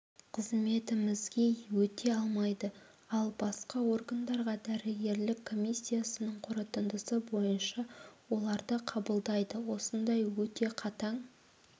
қызметімізге өте алмайды ал басқа органдарға дәрігерлік комиссиясының қорытындысы бойынша оларды қабылдайды осындай өте қатаң